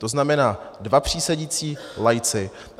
To znamená, dva přísedící laici.